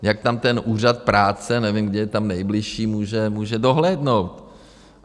Jak tam ten úřad práce, nevím, kde je tam nejbližší, může dohlédnout?